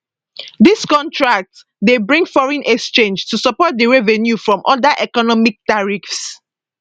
dis contracts dey bring foreign exchange to support di revenue from oda economic tariffs